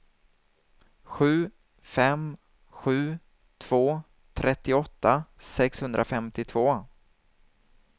sju fem sju två trettioåtta sexhundrafemtiotvå